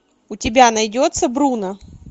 у тебя найдется бруно